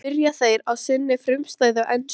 spyrja þeir á sinni frumstæðu ensku.